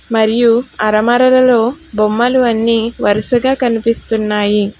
మరియు ఆల్మరా లో బొమ్మలు అన్ని వరుసగా కనిపిస్తున్నాయి